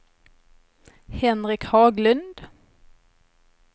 Henrik Haglund